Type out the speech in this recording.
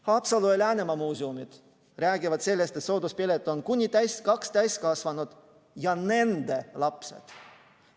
Haapsalu ja Läänemaa muuseumid räägivad sellest, et sooduspilet on kuni kahele täiskasvanule ja nende lastele.